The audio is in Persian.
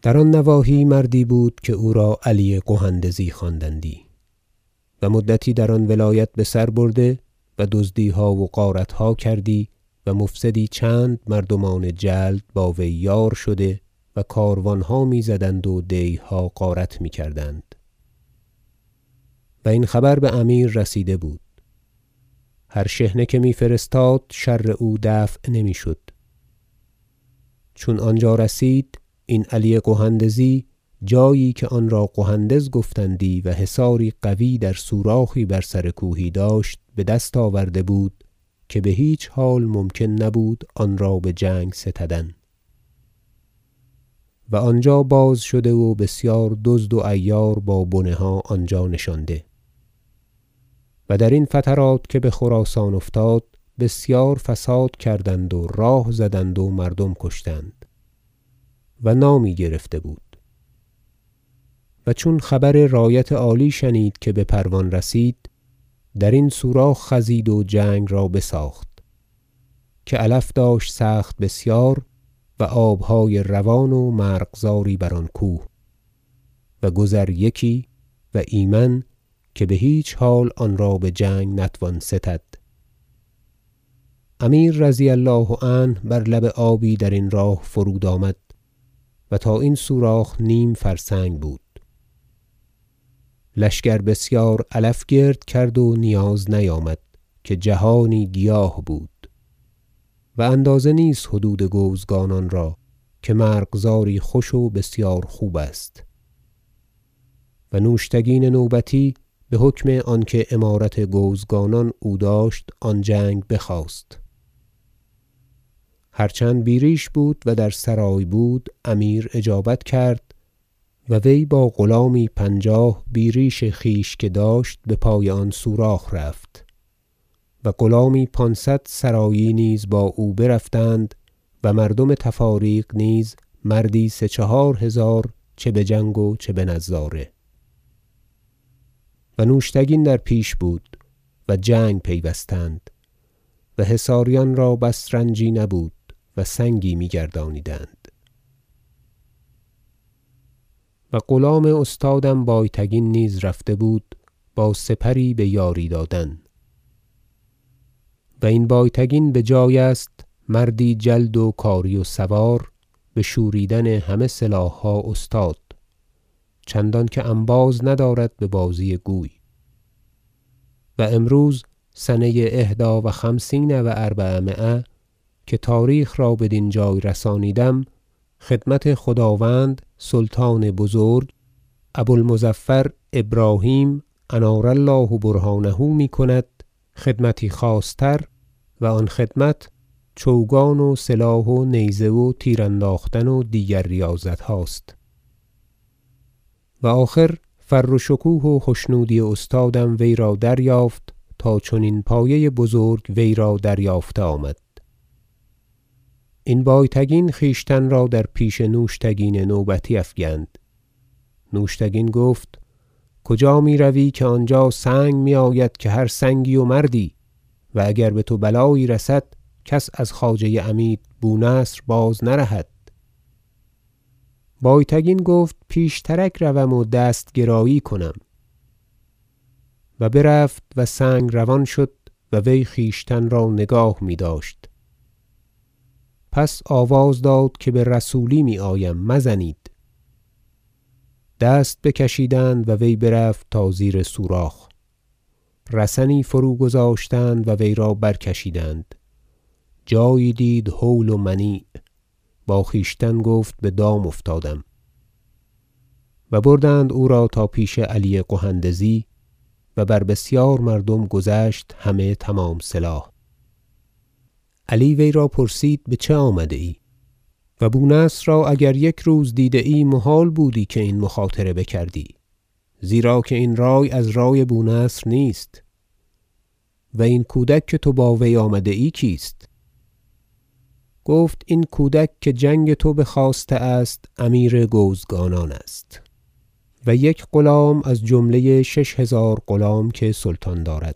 شرح احوال علی قهندزی و گرفتاری او در آن نواحی مردی بود که او را علی قهندزی خواندندی و مدتی در آن ولایت بسر برده و دزدیها و غارتها کردی و مفسدی چند مردمان جلد با وی یار شده و کاروانها میزدند و دیهها غارت میکردند و این خبر بامیر رسیده بود هر شحنه که میفرستاد شر او دفع نمیشد چون آنجا رسید این علی قهندزی جایی که آن را قهندز گفتندی و حصاری قوی در سوراخی بر سر کوهی داشت بدست آورده بود که بهیچ حال ممکن نبود آن را بجنگ ستدن و آنجا باز شده و بسیار دزد و عیار با بنه ها آنجا نشانده و درین فترات که بخراسان افتاد بسیار فساد کردند و راه زدند و مردم کشتند و نامی گرفته بود و چون خبر رایت عالی شنید که بپروان رسید درین سوراخ خزید و جنگ را بساخت که علف داشت سخت بسیار و آبهای روان و مرغزاری بر آن کوه و گذر یکی و ایمن که بهیچ حال آن را بجنگ نتوان ستد امیر رضی الله عنه بر لب آبی درین راه فرود آمد و تا این سوراخ نیم فرسنگ بود لشکر بسیار علف گرد کرد و نیاز نیامد که جهانی گیاه بود و اندازه نیست حدود گوزگانان را که مرغزاری خوش و بسیار خوب است و نوشتگین نوبتی بحکم آنکه امارت گوزگانان او داشت آن جنگ بخواست هر چند بیریش بود و در سرای بود امیر اجابت کرد و وی با غلامی پنجاه بیریش خویش که داشت بپای آن سوراخ رفت و غلامی پانصد سرایی نیز با او برفتند و مردم تفاریق نیز مردی سه چهار هزار چه بجنگ و چه بنظاره و نوشتگین در پیش بود و جنگ پیوستند و حصاریان را بس رنجی نبود و سنگی میگردانیدند و غلام استادم بایتگین نیز رفته بود با سپری بیاری دادن- و این بایتگین بجای است مردی جلد و کاری و سوار بشورانیدن همه سلاحها استاد چنانکه انباز ندارد ببازی گوی و امروز سنه احدی و خمسین و اربعمایه که تاریخ را بدین جای رسانیدم خدمت خداوند سلطان بزرگ ابو المظفر ابراهیم انار الله برهانه میکند خدمتی خاص تر و آن خدمت چوگان و سلاح و نیزه و تیر انداختن و دیگر ریاضتهاست و آخر فر و شکوه و خشنودی استادم وی را دریافت تا چنین پایه بزرگ وی را دریافته آمد - این بایتگین خویشتن را در پیش نوشتگین نوبتی افگند نوشتگین گفت کجا میروی که آنجا سنگ میآید که هر سنگی و مردی و اگر بتو بلایی رسد کس از خواجه عمید بو نصر باز نرهد بایتگین گفت پیشترک روم و دست گرایی کنم و برفت و سنگ روان شد و وی خویشتن را نگاه میداشت پس آواز داد که برسولی میآیم مزنید دست بکشیدند و وی برفت تا زیر سوراخ رسنی فروگذاشتند و وی را برکشیدند جایی دید هول و منیع با خویشتن گفت بدام افتادم و بردند او را تا پیش علی قهندزی و بر بسیار مردم گذشت همه تمام سلاح علی وی را پرسید بچه آمده ای و بو نصر را اگر یک روز دیده ای محال بودی که این مخاطره بکردی زیرا که این رای از رای بو نصر نیست و این کودک که تو با وی آمده ای کیست گفت این کودک که جنگ تو بخواسته است امیر گوزگانان است و یک غلام از جمله شش هزار غلام که سلطان دارد